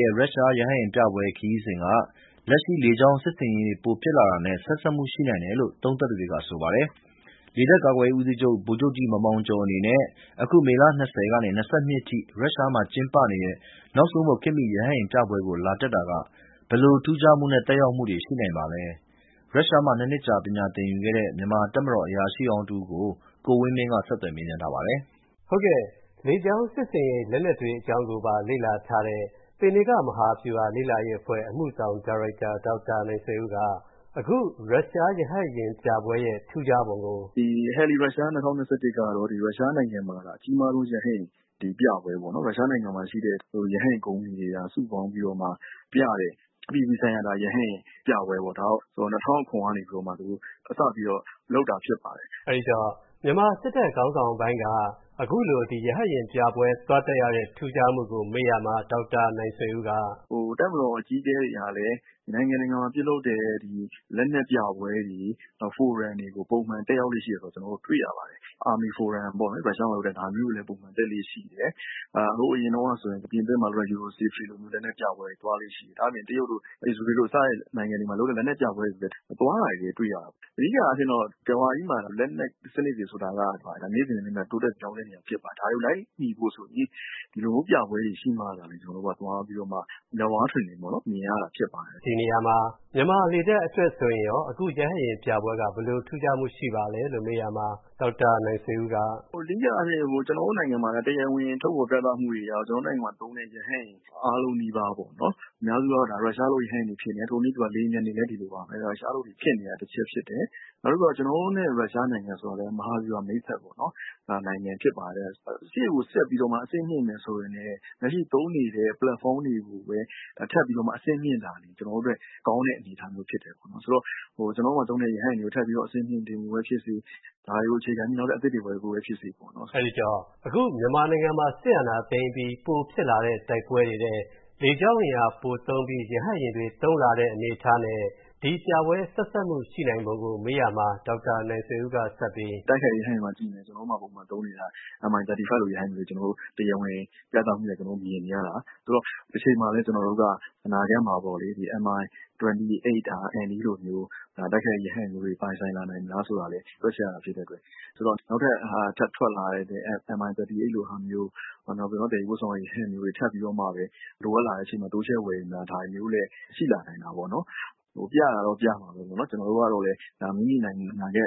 ရဲ့ ရုရှားရဟတ်ယာဉ်ပြပွဲခရီးစဉ်က၊ လက်ရှိလေကြောင်းစစ်ဆင်ရေးတွေပိုဖြစ်လာတာနဲ့ ဆက်စပ်မူရှိနိုင်တယ်လို့ သုံးသပ်သူတွေက ဆိုပါတယ်။ လေတပ်ကာကွယ်ရေးဦးစီးချုပ် ဗိုလ်ချုပ်ကြီး မောင်မောင်ကျော်အနေနဲ့၊ အခု မေလ ၂၀ ကနေ ၂၂ ရက်အထိ ရုရှားမှာ ကျင်းပနေတဲ့ နောက်ဆုံးပေါ်ခေတ်မီ ရဟတ်ယာဉ်ပြပွဲကိုလာတက်တာက၊ ဘယ်လိုထူးခြားမူနဲ့ သက်ရောက်မူတွေရှိနိုင်ပါလဲ။ ရုရှားမှာ ၂ နှစ်ကြာပညာသင်ယူခဲ့တဲ့ မြန်မာတပ်မတော်အရာရှိဟောင်းတစ်ဦးကို ကိုဝင်းမင်းက မေးထားပါတယ်။ လေကြောင်းစစ်ဆင်ရေးလက်နက်တွေကိုပါ လေ့လာထားတဲ့ သေနင်္ဂမဟာဗျူဟာလေ့လာရေးအဖွဲ့ အမှုဆောင်ဒါရိုက်တာ ဒေါက်တာ နိုင်ဆွေဦးက အခု ရုရှားရဟတ်ယာဉ်ပြပွဲရဲ့ ထူးခြားပုံကို “ ဒီ HeliRussia 2021 ကတော့ ရုရှားနိုင်ငံမှာအကြီးမားဆုံး ရုရှားရဟတ်ယာဉ်ပြပွဲပေါ့နော် ။ ရုရှားနိုင်ငံမှာရှိတဲ့ ရဟတ်ယာဉ်ကုမ္ပဏီတွေ စုပေါင်းပြီးမှ ပြတဲ့ အပြည်ပြည်ဆိုင်ရာ ရဟတ်ယာဉ်ပြပွဲပေါ့နော်၊ ဒါကို ၂၀၀၇ ကတည်းကနေပြီးတော့မှ စပြီးတော့ လုပ်တာဖြစ်ပါတယ်။” အဲဒီတော့ မြန်မာစစ်တပ်ခေါင်းဆောင်ပိုင်းက အခုလို ရဟတ်ယာဉ်ပြပွဲ သွားတက်ရတဲ့ ထူးခြားမှုကို မေးရာမှာ ဒေါက်တာ နိုင်ဆွေဦးက “ တပ်မတော်အကြီးအကဲတွေဟာလည်း နိုင်ငံတကာမှာ ပြုလုပ်တဲ့ လက်နက်ပြပွဲတွေ ဖိုရမ်တွေကို ပုံမှန်တက်ရောက်လေ့ရှိတယ် ဆိုတာကို ကျနော်တို့ တွေ့ရတယ်၊ Army forum တွေ၊ ရုရှားမှာ လုပ်တဲ့အခါ သူတို့ လာတက်လေ့ရှိတယ်။ ဟိုအရင်တုန်းက ပြင်သစ်မှာလုပ်တဲ့ EUROSATORY လက်နက်ပြပွဲတွေမှာ သွားလေ့ရှိတယ်။ ဒါ့အပြင် တရုတ်လို အစ္စရေးတို့လိုစတဲ့နိုင်ငံတွေမှာလုပ်တဲ့ လက်နက်ပြပွဲတွေ သွားတာတွေလည်း တွေ့ရတယ်။ အဓိကအားဖြင့်တော့ ကမ္ဘာကြီးမှာ လက်နက်စနစ်တွေဆိုတာက နေ့စဉ်နဲ့အမျှ တိုးတက်ပြောင်းလဲနေတာဖြစ်ပါတယ်။ ဒါတွေကို လိုက်မီဖို့ဆိုရင် ဒီလိုမျိုးပြပွဲတွေရှိမှသာလျှင် ကျနော်တို့က သွားပြီးတော့မှ မျက်ဝါးထင်ထင် မြင်ရတာဖြစ်ပါတယ်။” ဒီနေရာမှာ မြန်မာလေတပ်အတွက်ဆိုရင်ရော အခု ရုရှားရဟတ်ယာဉ်ပြပွဲက ဘယ်လိုထူးခြားမှုရှိပါသလဲ မေးရာမှာ ဒေါက်တာ နိုင်ဆွေဦးက “အဓိကအားဖြင့် ကျနော်တို့နိုင်ငံမှာလည်း တရားဝင်ထုတ်ဖော်ပြသမှုတွေအရတာ့ ကျနော်တို့နိုင်ငံမှာ သုံးတဲ့ ရဟတ်ယာဉ်အားလုံးနီးပါး အများစုကတော့ ရုရှားထုတ်ရဟတ်ယာဉ်တွေဖြစ်နေတယ်။ ထိုနည်းတူပါပဲ လေယာဉ်ပျံတွေလည်း ရုရှားထုတ်တွေဖြစ်တာ တချက်ဖြစ်တယ်။ နောက်ပြီးတော့ ကျနော်တို့နဲ့ ရုရှားဆိုတာကလည်း မဟာဗျူဟာ မိတ်ဖက်ပေါ့နော် နိုင်ငံဖြစ်ပါတယ်။ ဆိုတဲ့အခါကျတော့ ရှေ့ကိုဆက်ပြီးမှ အဆင့်မြင့်မယ်ဆိုရင်လည်း လက်ရှိသုံးနေတဲ့ ပလက်ဖောင်းတွေကိုပဲ ထပ်ပြီးတော့ အဆင့်မြင့်တာ ကျနော်တို့အတွက် ကောင်းတဲ့အရာဖြစ်တယ်ပေါ့နော်။ ဆိုတော့ ကျနော်တို့မှာ သုံးနေတဲ့ ရဟတ်ယာဉ်တွေကို ထပ်ပြီးတော့ အဆင့်မြင့်တာဖြစ်စေ ဒါတွေကိုအခြေခံပြီး နောက်ထပ်အသစ်ဝယ်တာ ဖြစ်စေပေါ့နော်။” အဲဒီတော့ အခုမြန်မာ နိုင်ငံမှာ စစ်အာဏာသိမ်းပြီး ပိုဖြစ်လာတဲ့ တိုက်ပွဲတွေထဲ လေကြောင်းအင်အားပိုသုံးပြီး ရဟတ်ယာဉ်တွေပိုသုံးလာတဲ့ အနေအထားနဲ့ ဒီပြပွဲ ဆက်စပ်မှု ရှိနိုင်ပုံကို မေးရာမှာ ဒေါက်တာ နိုင်ဆွေဦးကဆက်ပြီး “တိုက်ခိုက်တဲ့ ရဟတ်ယာဉ်တွေကို ကြည့်မယ်ဆိုရင် ကျနော်တို့မှာ သုံးနေတာ Mi-35 လို ရဟတ်ယာဉ်မျိုး တရားဝင်ပြသမူအရ မြင်နေရတာ၊ ဆိုတော့ တချိန်မှာလည်း ကျနေ်ာတို့က အနာဂတ်မှာပေါ့လေ Mi-28NE လိုမျိုး တိုက်ခိုက်ရေး ရဟတ်ယာဉ်မျိုးတွေပိုင်ဆိုင်လာနိုင်မလားတာလည်း တွက်ချက်ရတာဖြစ်တဲ့အတွက်။ ဆိုတော့၊ နောက်ထပ် ထပ်ထွက်လာတဲ့ Mi-38 လိုမျိုး သယ်ယူပို့ဆောင်တဲ့ ရဟတ်ယာဉ်မျိုးတွေ ထပ်ပြီးတော့မှ လိုအပ်လာတဲ့အချိန်မှာ တိုးချဲ့ဝယ်ယူတာ ဒါမျိုးလည်း ရှိလာနိုင်တာပေါ့နော်။ ပြတာက ပြတာပေါ့နော်၊ ကျနော်တို့ကလည်း မိမိနိုင်ငံအနာဂတ်